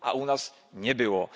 A u nas nie było.